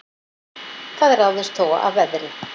Það ráðist þó af veðri